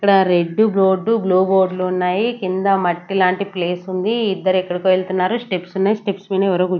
ఇక్కడ red board blue board లు ఉన్నాయి కింద మట్టి లాంటి ప్లేస్ ఉంది ఇద్దరు ఎక్కడికి వెళ్తున్నారు స్టెప్స్ ఉన్నాయి స్టెప్స్ మీద ఎవరో కూర్చు --